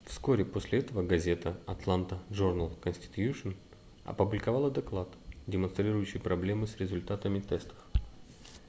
вскоре после этого газета атланта джорнал конститьюшн опубликовала доклад демонстрирующий проблемы с результатами тестов